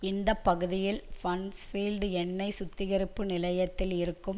இந்த பகுதியில் பன்ஸ்பீல்ட் எண்ணெய் சுத்திகரிப்பு நிலையத்தில் இருக்கும்